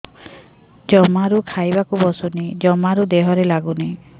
ଜମାରୁ ଖାଇବାକୁ ବସୁନି ଜମାରୁ ଦେହରେ ଲାଗୁନି